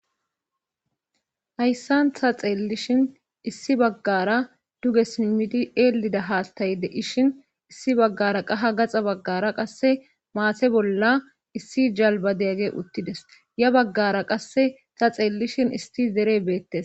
hayssan ta xeellishin issi baggara duge simimiti eelida haastayde ishin issi baggara qaha gaxa baggara qasse maase bolla issi jalba degagge uttides ya baggara qasse ta xeellishin isti dere beettes